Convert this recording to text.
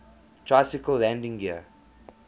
tricycle landing gear